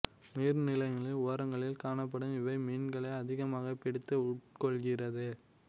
நீர் நிலைகளின் ஓரங்களில் காணப்படும் இவை மீன்களை அதிகமாகப் பிடித்து உட்கொள்கிறது